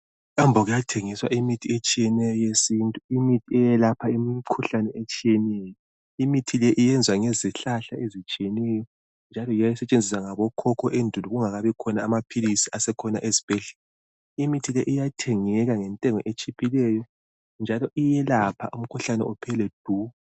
Emkambo kuyathengiswa imithi etshiyeneyo yesintu, imikhuhlane etshiyeneyo. Imithi le iyenzwa ngezihlahla ezitshiyeneyo njalo yiyo eyayisetshenziswa ngabokhokho endulo kungakabi khona amaphilisi asekhona ezibhedlela. Imithi le iyathengeka ngentengo etshiphileyo njalo iyelapha umkhuhlane uphele du.